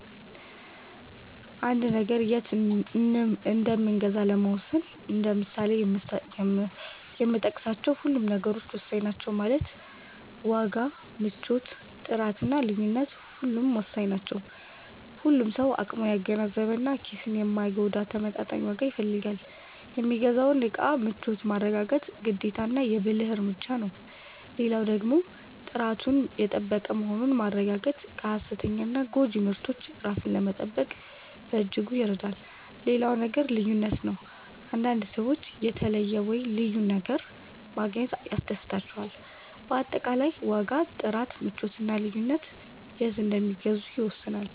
አንድን ነገር የት እንምገዛ ለመወሰን እንደ ምሳሌነት የጠቀስካቸው ሁሉም ነገሮች ወሳኝ ናቸው ማለትም ዋጋ፣ ምቾት፣ ጥራት እና ልዩነት ሁሉም ወሳኝ ናቸው። ሁሉም ሰው አቅሙን ያገናዘበ እና ኪስን የማይጎዳ ተመጣጣኝ ዋጋ ይፈልጋል። የሚገዛውን እቃ ምቾት ማረጋገጥ ግዴታና የ ብልህ እርምጃ ነው። ሌላው ደግሞ ጥራቱን የጠበቀ መሆኑን ማረጋገጥ ከ ሃሰተኛና ጎጂ ምርቶች ራስን ለመጠበቅ በእጅጉ ይረዳል። ሌላው ነገር ልዩነት ነው፤ አንዳንድ ሰዎች የተለየ(ልዩ) ነገር ማግኘት ያስደስታቸዋል። በአጠቃላይ ዋጋ፣ ጥራት፣ ምቾት እና ልዩነት የት እንደሚገዙ ይወስናሉ።